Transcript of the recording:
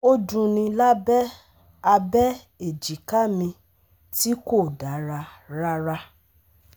Ó dunni lábẹ́ abẹ èjìká mi tí kò dára rárá